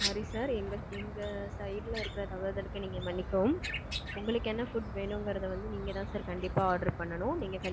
sorry sir. எங்க எங்க side ல இருக்குற தவறுதலுக்கு நீங்க மன்னிக்கவும். உங்களுக்கு என்ன food வேணுமுங்கிறது வந்து நீங்கதான் sir கண்டிப்பா order பண்ணிக்கணும். நீங்க கண்டிப்பா order பண்ணி.